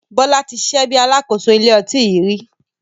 Bọlá tí ṣiṣẹ́ bí Alákóso ilé ọtí yìí rí.